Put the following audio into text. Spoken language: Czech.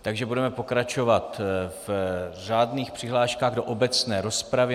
Takže budeme pokračovat v řádných přihláškách do obecné rozpravy.